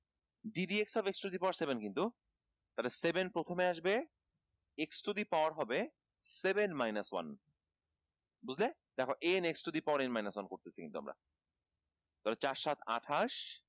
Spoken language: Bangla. d dx of x to the power seven কিন্তু তালে seven প্রথমে আসবে x to the power হবে seven minus one বুঝলে দেখ n x to the power n minus one করতেছি কিন্তু আমরা তাহলে চার সাত আঠাশ